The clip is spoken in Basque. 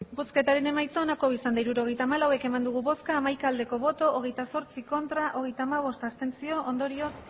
hirurogeita hamalau eman dugu bozka hamaika bai hogeita zortzi ez hogeita hamabost abstentzio ondorioz